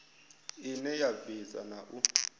ine ya bvisa na u